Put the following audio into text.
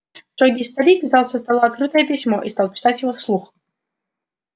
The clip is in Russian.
строгий старик взял со стола открытое письмо и стал читать его вслух